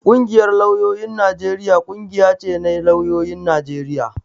Ƙungiyar lauyoyin Najeriya ƙungiya ce na lauyoyin Najeriya